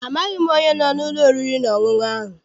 Amaghị m onye no n'ụlọ oriri na ọṅụṅụ ahụ.